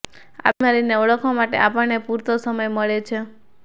આ બીમારીને ઓળખવા માટે આપણને પૂરતો સમય મળે છે